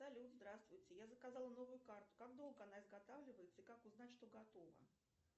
салют здравствуйте я заказала новую карту как долго она изготавливается и как узнать что готова